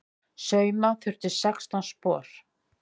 Sauma þurfti sextán spor.